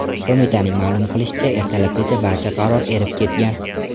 Qo‘mitaning ma’lum qilishicha, ertalabgacha barcha qor erib ketgan.